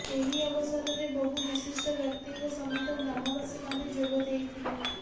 ଏହି ଅବସରରେ ବହୁ ବିଶିଷ୍ଠ ବ୍ୟକ୍ତିଙ୍କ ସମେତ ଗ୍ରାମବାସୀମାନେ ଯୋଗ ଦେଇଥିଲେ